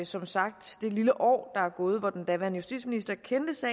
som sagt det lille år der er gået hvor den daværende justitsminister kendte til